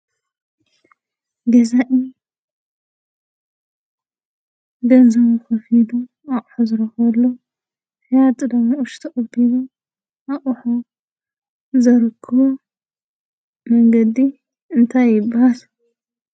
ገዛኢ ገንዘቡ ከፊሉ ኣቑሑ ዝረኽበሉ ሽያጢ ድማ ቅርሹ ተቀቢሉ ኣቑሑ ዘረክቦ መንገዲ እንታይ ይበሃል ?